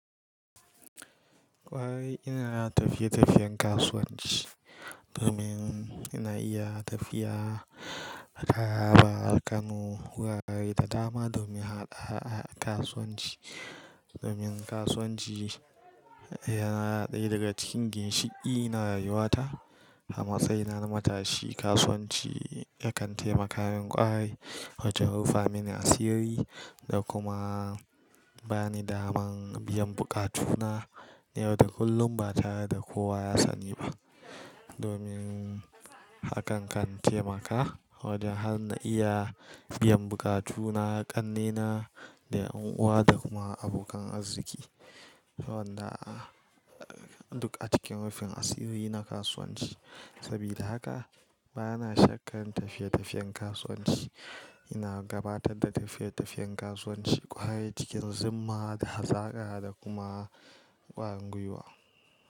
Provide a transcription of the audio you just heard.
Ƙwarai ina ta tafiye-tafiyen kasuwanci domin ina iya tafiya taraba, Kano, wurare da dama domin haɗa a kasuwanci. Domin kasuwanci yana ɗaya daga cikin ginshiƙi na rayuwata. Hama sai na zamatashi kasuwanci yakan taimaka min ƙware wajen rufa mini asiri da kuma bani daman biyan buƙatuna yauda kullum ba tare da kowa ya sani ba. Domin hakan kan taimaka wajen har na iya biyan buƙatuna ƙannena da ƴan'uwa da kuma abokan arziki. Wanda a duk a cikin rufin asiri na kasuwanci. Sabida haka bana shakka tafiye-tafiyen kasuwanci. Ina gabatar da tafiye-tafiyen kasuwanci ƙwarai cikin zuma da hazaƙa da kuma ƙwarin gwuwa.